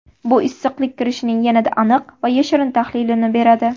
Bu issiqlik kirishining yanada aniq va yashirin tahlilini beradi.